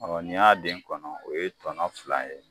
n'i y'a den kɔnɔ o ye tɔnɔ fila ye.